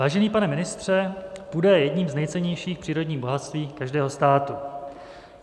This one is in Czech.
Vážený pane ministře, půda je jedním z nejcennějších přírodních bohatství každého státu.